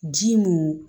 Ji mun